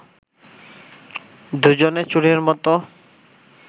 দুজনে চোরের মত